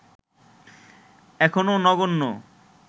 এখনো নগণ্য